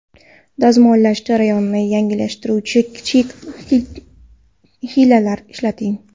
Dazmollash jarayonini yengillashtiruvchi kichik hiylalar ishlating.